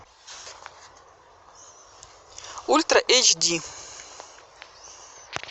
ультра эйч ди